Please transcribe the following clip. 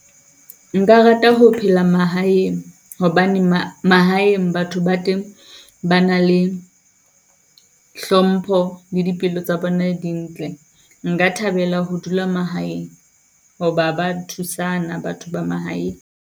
Nka rata ho phela mahaeng hobane mahaeng batho ba teng ba na le hlompho le dipelo tsa bona dintle. Nka thabela ho dula mahaeng, hoba ba thusana batho ba mahaeng.